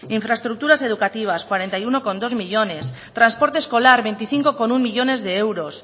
infraestructuras educativas cuarenta y uno coma dos millónes transporte escolar veinticinco coma uno millónes de euros